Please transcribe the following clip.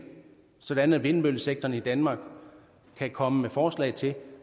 sådan at vindmøllesektoren i danmark kan komme med forslag til